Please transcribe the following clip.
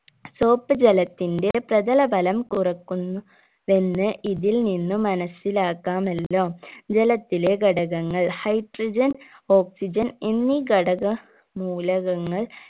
soap ജലത്തിന്റെ പ്രതലബലം കുറക്കുന്നു വെന്ന് ഇതിൽ നിന്ന് മനസ്സിലാക്കാമല്ലോ ജലത്തിലെ ഘടകങ്ങൾ hydrogenoxygen എന്നീ ഘടക മൂലകങ്ങൾ